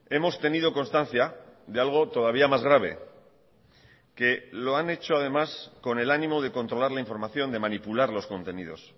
hemos tenido constancia de algo todavía más grave que lo han hecho además con el ánimo de controlar la información de manipular los contenidos